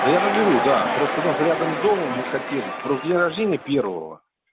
да я наберу да просто у нас рядом с домом мы хотели про день рождения первого